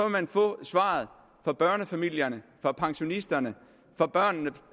man få svaret fra børnefamilierne fra pensionisterne fra børnene